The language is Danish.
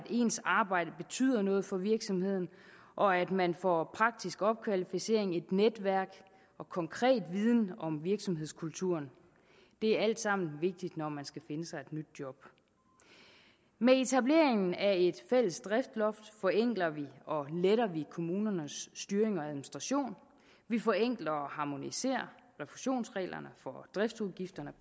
ens arbejde betyder noget for virksomheden og at man får praktisk opkvalificering et netværk og konkret viden om virksomhedskulturen det er alt sammen vigtigt når man skal finde sig et nyt job med etableringen af et fælles driftsloft forenkler og letter vi kommunernes styring og administration vi forenkler og harmoniserer refusionsreglerne for driftsudgifterne